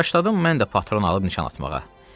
Başladım mən də patron alıb nişan atmağa.